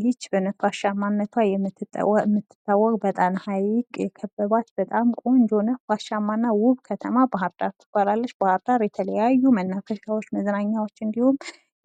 ይች በነፋሻማነቷ የምትታወቅ በጣም ሀይቅ የከበባት በጣም ቆንጆ እና ነፋሻማ እና ውብ ከተማ ባህርዳር ትባላለች። ባህርዳር የተለያዩ መናፈሻዎች መዝናኛዎች እንድሁም